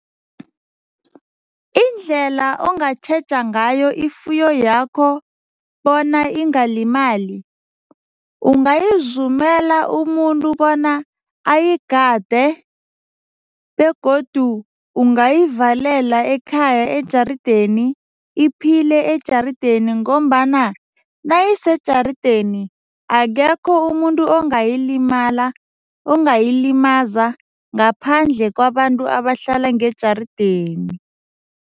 Indlela ongatjheja ngayo ifuyo yakho bona ingalimali, ungayizumela umuntu bona ayigade begodu ungavalela ekhaya ejarideni, iphile ejarideni ngombana nayisejarideni akekho umuntu ongayilimala, ongayilimaza ngaphandle kwabantu abahlala ngejarideni.